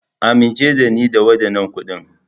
Amince da ni da waɗannan kuɗin.